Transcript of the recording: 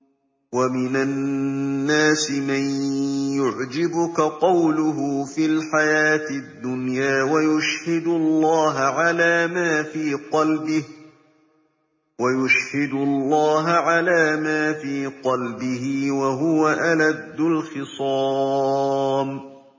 وَمِنَ النَّاسِ مَن يُعْجِبُكَ قَوْلُهُ فِي الْحَيَاةِ الدُّنْيَا وَيُشْهِدُ اللَّهَ عَلَىٰ مَا فِي قَلْبِهِ وَهُوَ أَلَدُّ الْخِصَامِ